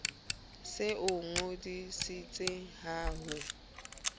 se o ngodisitse ha ho